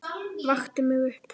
Vakti mig upp.